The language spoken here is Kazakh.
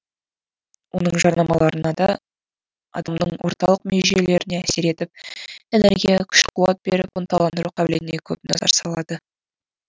оның жарнамаларынада адамның орталық ми жүйелеріне әсер етіп энергия күш қуат беріп ынталандыру қабілетіне көп назар салады